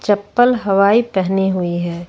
चप्पल हवाई पहनी हुई है।